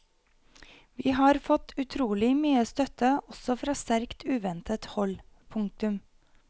Vi har fått utrolig mye støtte også fra sterkt uventet hold. punktum